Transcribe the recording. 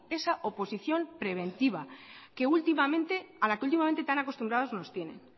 a la que últimamente tan acostumbrados nos tienen